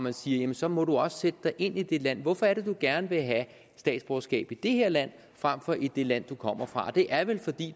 at sige så må du også sætte dig ind i det land hvorfor er det du gerne vil have statsborgerskab i det her land frem for i det land du kommer fra det er vel fordi